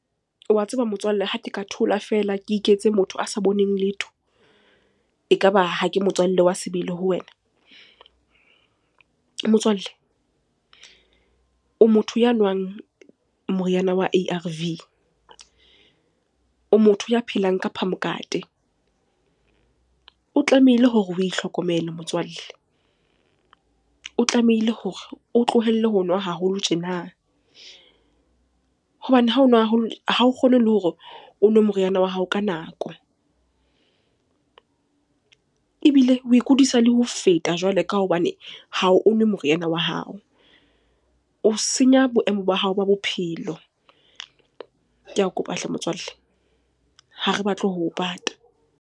Wa tseba motswalle ha ke ka thola feela ke iketse motho a sa boneng letho, ekaba ha ke motswallle wa sebele ho wena. Motswalle, o motho ya nwang moriana wa A_R_V, o motho ya phelang ka phamokate. O tlamehile hore o itlhokomele motswalle. O tlamehile hore o tlohelle ho nwa haholo tjena hobane ha o nwa haholo ha o kgone le hore o nwe moriana wa hao ka nako. Ebile o ikudisa le ho feta jwale ka hobane ha o nwe moriana wa hao. O senya boemo ba hao ba bophelo. Ke a kopa hle motswalle, ha re batle ho o pata.